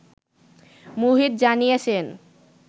মুহিত জানিয়েছেন